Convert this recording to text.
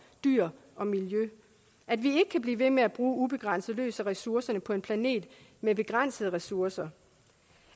dyr og miljø at vi ikke kan blive ved med ubegrænset løs af ressourcerne på en planet med begrænsede ressourcer